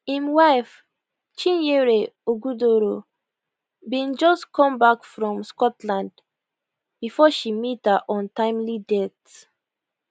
im wife chinyere ogudoro bin just come back from scotland before she meet her untimely death